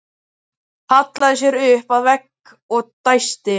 Hallaði sér upp að vegg og dæsti.